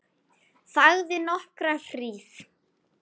Þagði nokkra hríð.